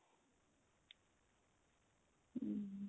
hm